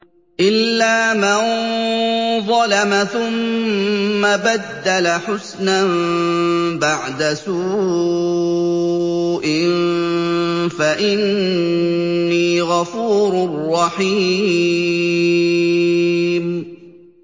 إِلَّا مَن ظَلَمَ ثُمَّ بَدَّلَ حُسْنًا بَعْدَ سُوءٍ فَإِنِّي غَفُورٌ رَّحِيمٌ